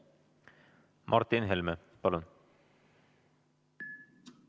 Martin Helme, palun!